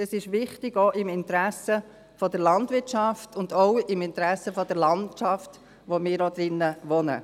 Dies ist auch im Interesse der Landwirtschaft und auch im Interesse der Landschaft wichtig, in der wir auch wohnen.